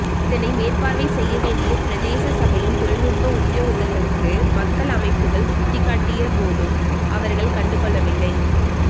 இதனை மேற்பார்வை செய்ய வேண்டிய பிரதேச சபையின் தொழிநுட்ப உத்தியோகத்தர்களுக்கு மக்கள் அமைப்புக்கள் சுட்டிக்காட்டிய போதும் அவர்கள் கண்டுகொள்ளவில்லை